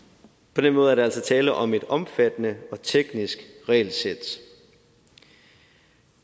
på den måde er der altså tale om et omfattende og teknisk regelsæt